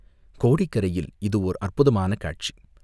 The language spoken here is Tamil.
கோடிக்கரையில் இது ஓர் அற்புதமான காட்சி.